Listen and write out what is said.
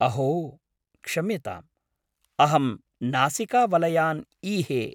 अहो! क्षम्यताम् , अहं नासिकावलयान् ईहे।